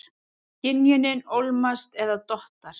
Skynjunin ólmast eða dottar.